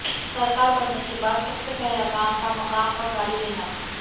सरकार बनने के बाद सबसे पहला काम था मकान और गाड़ी लेना